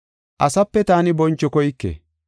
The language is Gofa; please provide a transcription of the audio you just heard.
“Asape taani boncho koyke.